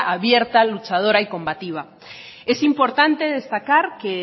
abierta luchadora y combativa es importante destacar que